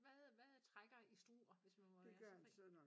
Hvad hvad trækker i Struer hvis man må være så fri?